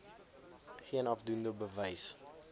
geen afdoende bewys